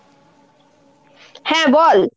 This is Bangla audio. হ্যাঁ বল।